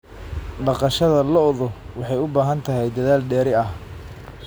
Dhaqashada lo'du waxay u baahan tahay dadaal dheeri ah.